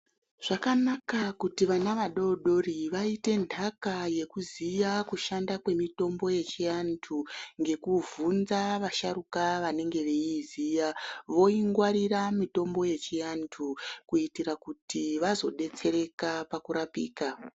Zvakanaka kuti vana vadodori vaite ndaka yekuziya kushanda kwemitombo yechivabtu ngekuvhunza vasharuka vanenge vachiziva voingwarira mitombo yechiandu kuitira kuti vazodetsereka pakurapika.